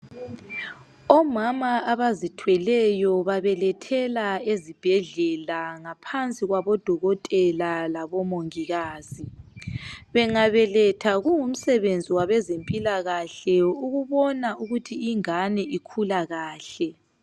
omama abazithweleyo babelethela ezibhedlela ngaphansi kwabo dokotela labo mongikazi bangabeletha kungumsebenzi wabezempilakahle ukubona ukuthi ingane ikhula kahle